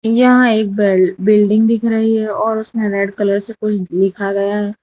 यहां एक बिल बिल्डिंग दिख रही है और उसमें रेड कलर से कुछ लिखा गया है।